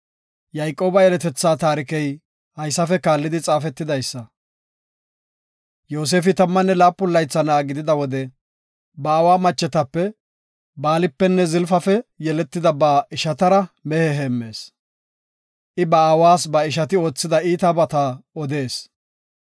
Yayqooba yeletetha taarikey haysafe kaallidi xaafetidaysa. Yoosefi tammanne laapun laytha na7a gidida wode ba aawa machetape, Baalipenne Zilpafe yeletida ba ishatara mehe heemmees. I ba aawas ba ishati oothida iitabata odees.